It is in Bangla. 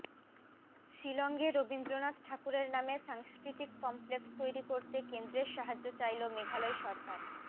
শিলংয়ে রবীন্দ্রনাথ ঠাকুরের নামে সাংস্কৃতিক কমপ্লেক্স তৈরি করতে কেন্দ্রের সাহায্য চাইল মেঘালয় সরকার